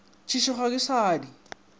tšešo ga ke sa di